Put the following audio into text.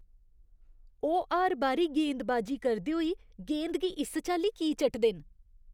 ओह् हर बारी गेंदबाजी करदे होई गेंद गी इस चाल्ली की चाटदे न?